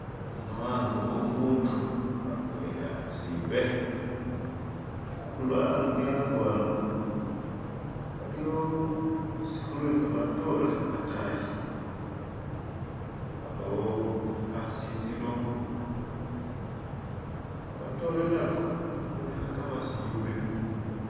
Ano ango womundu, ango wene akhusimbe! andulo e ango ano waliwo lusukhu lwe kamatoore atayi, wabawo khasisilo, kamatoore nako kabonekha kamasimbe!